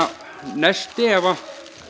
nesti ef